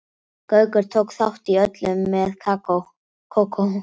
Gaukur tók þátt í öllu með Kókó.